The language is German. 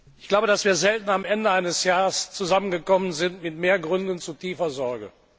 Ich glaube, dass wir selten am Ende eines Jahres zusammengekommen sind mit mehr Gründen zu tiefer Sorge.